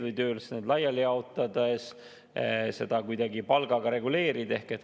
Nende ülesannete laiali jaotamise korral ei saa seda kuidagi palgaga reguleerida.